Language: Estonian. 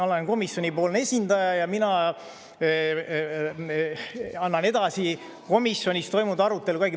Olen komisjonipoolne esindaja ja mina annan edasi komisjonis toimunud arutelu.